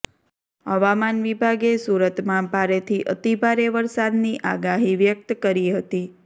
હવામાન વિભાગે સુરતમાં ભારેથી અતિભારે વરસાદની આગાહી વ્યકત કરી હતી